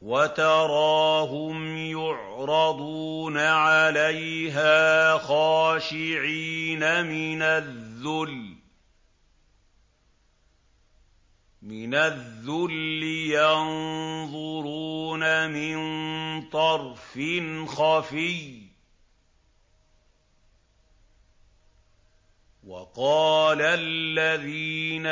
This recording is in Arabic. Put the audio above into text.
وَتَرَاهُمْ يُعْرَضُونَ عَلَيْهَا خَاشِعِينَ مِنَ الذُّلِّ يَنظُرُونَ مِن طَرْفٍ خَفِيٍّ ۗ وَقَالَ الَّذِينَ